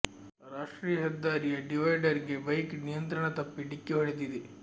ರಾಷ್ಟ್ರೀಯ ಹೆದ್ದಾರಿಯ ಡಿವೈಡರ್ ಗೆ ಬೈಕ್ ನಿಂಯಂತ್ರಣ ತಪ್ಪಿ ಡಿಕ್ಕಿ ಹೊಡೆದಿದೆ